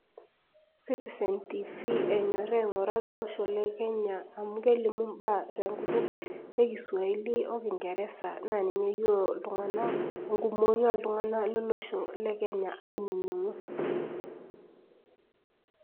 citizen tv enyori aingura tolosho lekenya amu kelimu imbaa tenkutuk ekiswahili okingeresa , naa ninye eyiolo iltunganak , enkumoi oltunganak naa lolosho le kenya ainingu.